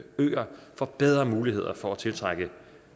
får bedre muligheder for at tiltrække